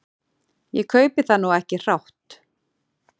Ég kaupi það nú ekki hrátt.